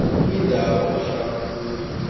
kwindawo ohlala kuyo